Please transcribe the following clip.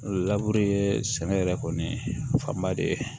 Laburu ye sɛnɛ yɛrɛ kɔni fanba de ye